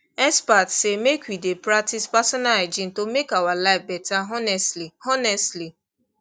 experts say make we dey practice personal hygiene to make our life better honestly honestly